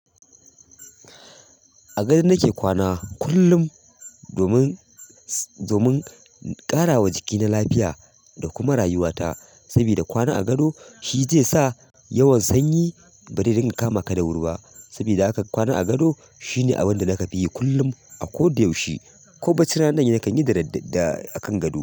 A gado nake kwana kullum domin, domin ƙarawa jiki na lafiya da kuma rayuwata. Sabida kwana a gado shizai sa yawan sanyi bare dinga kamaka dawuri ba. Sabida haka kwana a gado shine abinda daka fiyi akullum akoda yaushe. Ko bacci rana nakan yida, da akan gado.